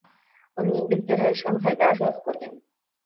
оның еңбектері шанхайда жарық көрген